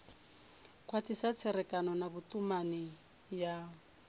khwathisa tserekano na vhutumani ya